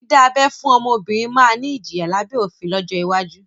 Dídá abẹ́ fún ọmọbìnrin máa ni ìjìyà lábẹ́ òfin lọ́jọ́ iwájú